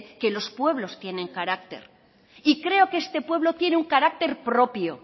que los pueblos tienen carácter y creo que este pueblo tiene un carácter propio